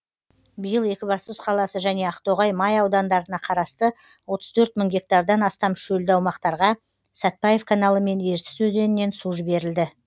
биыл екібастұз қаласы және ақтоғай май аудандарына қарасты отыз төрт мың гектардан астам шөлді аумақтарға сәтбаев каналы мен ертіс өзенінен су жіберілді